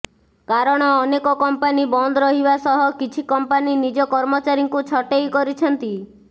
କାରଣ ଅନେକ କମ୍ପାନୀ ବନ୍ଦ ରହିବା ସହ କିଛି କମ୍ପାନୀ ନିଜ କର୍ମଚାରୀଙ୍କୁ ଛଟେଇ କରିଛନ୍ତି